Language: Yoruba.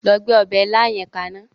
Lọ gbé ọba ilá yẹn kaná.